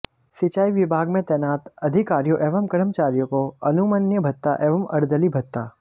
सिंचाई विभाग में तैनात अधइकारियों एवं कर्मचारियों को अनुमन्य भत्ता एवं अर्दली भत्ता